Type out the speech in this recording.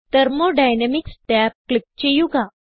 thermodynamics tab click ചെയ്യുക